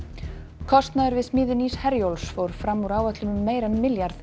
kostnaður við smíði nýs Herjólfs fór fram úr áætlun um meira en milljarð